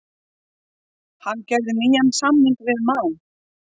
Hann gerði nýjan samning við Man.